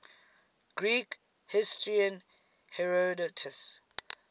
greek historian herodotus